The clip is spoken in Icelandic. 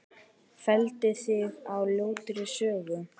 Felldi þig á ljótri sögu.